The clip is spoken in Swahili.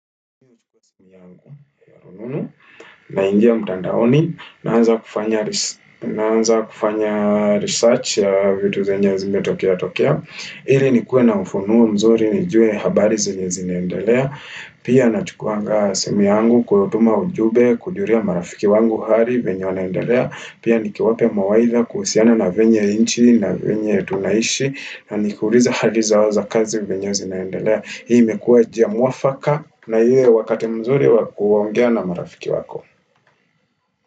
Na ingia mtandaoni, naanza kufanya naanza kufanya research ya vitu zenye zimetokea tokea Ili nikuwe na ufunuwa mzuri, nijue habari zenye zinaendelea Pia nachukuanga simu yangu kutuma ujumbe, kujulia marafiki wangu hali venye wanaendelea Pia nikiwape mawaitha kuhusiana na venye inchi na venye tunaishi Na nikuuliza hali zao za kazi venye wanaendelea hii imekua njia mwafaka na ile wakati mzuri wakuaongea na marafiki wako.